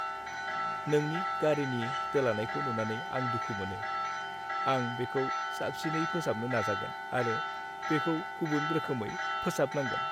नोंनि गारिनि दोलानायखौ नुनानै आं दुखु मोनो। आं बेखौ साबसिनै फोसाबनो नाजागोन आरो बेखौ गुबुन रोखोमै फोसाबनांगोन।